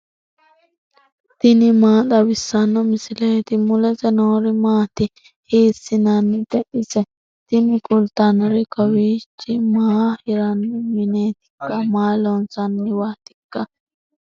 tini maa xawissanno misileeti ? mulese noori maati ? hiissinannite ise ? tini kultannori kowiichi maa hiranni mineetikka maa loonsanniwaatikka